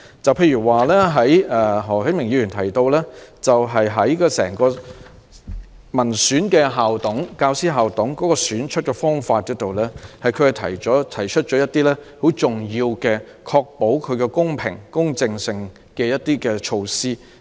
舉例說，何啟明議員就校董會內民選產生的教師代表的選舉方法，提出了一些能夠確保其公平、公正性的重要措施。